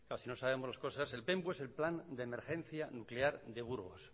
si no sabemos las cosas el penbu es el plan de emergencia nuclear de burgos